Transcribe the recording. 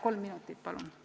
Kolm minutit juurde palun!